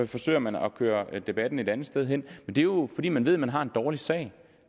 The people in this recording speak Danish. forsøger man at køre debatten et andet sted hen men det er jo fordi man ved man har en dårlig sag